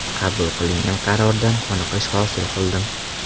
Qabul qilingan qarordan qoniqish hosil qildim.